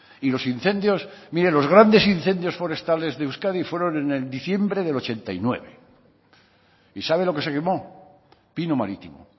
y los incendios mire los grandes incendios forestales de euskadi fueron en diciembre de ochenta y nueve y sabe lo que se quemó pino marítimo